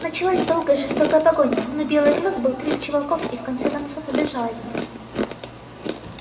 началась долгая жестокая погоня но белый клык был крепче волков и в конце концов убежал от них